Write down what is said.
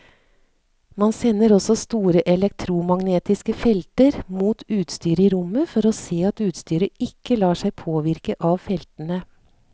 Man sender også store elektromagnetiske felter mot utstyret i rommet for å se at utstyret ikke lar seg påvirke av feltene.